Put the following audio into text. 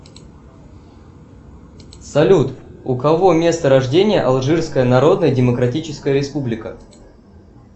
салют у кого место рождения алжирская народная демократическая республика